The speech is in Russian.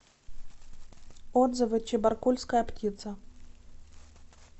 отзывы чебаркульская птица